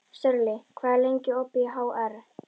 Sörli, hvað er lengi opið í HR?